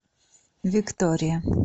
виктория